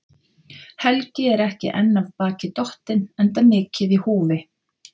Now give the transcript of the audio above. Helgi er ekki enn af baki dottinn, enda mikið í húfi.